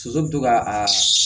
Soso bɛ to ka a